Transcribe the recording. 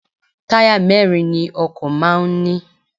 Táyà mẹ́ẹ́rin ni ọkọ̀ máà ń ní